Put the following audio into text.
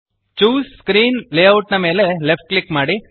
choose screen layout ಮೇಲೆ left click ಮಾಡಿ